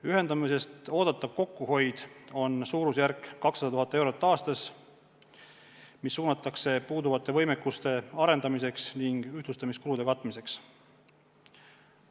Ühendamisest oodatav kokkuhoid on suurusjärgus 200 000 eurot aastas, mis suunatakse puuduvate võimekuste arendamiseks ning ühtlustamiskulude katmiseks.